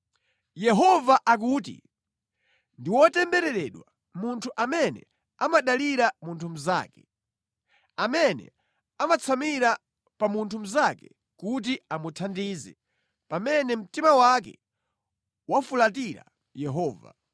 Yehova akuti, “Ndi wotembereredwa munthu amene amadalira munthu mnzake, amene amatsamira pa munthu mnzake kuti amuthandize pamene mtima wake wafulatira Yehova.